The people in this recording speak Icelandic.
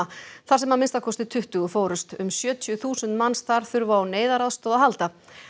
þar sem að minnsta kosti tuttugu fórust um sjötíu þúsund manns þar þurfa á neyðaraðstoð að halda